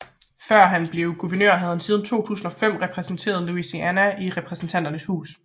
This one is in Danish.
Før han blev guvernør havde han siden 2005 repræsenteret Louisiana i Repræsentanternes Hus